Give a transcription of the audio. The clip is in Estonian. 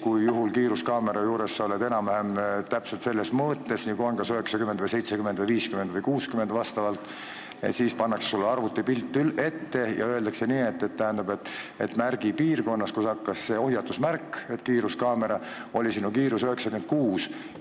kui sa oled kiiruskaamera juures, enam-vähem täpselt selles mõõtmes, nii nagu seal on, kas 90, 70, 60 või 50 kilomeetrit, aga siis pannakse sulle arvutipilt ette ja öeldakse, et nii, märgi piirkonnas, seal, kus oli see hoiatusmärk, et tuleb kiiruskaamera, oli sinu kiirus 96 kilomeetrit tunnis.